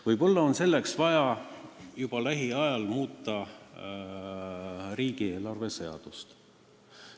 Võib-olla on selleks vaja juba lähiajal muuta riigieelarve seadust.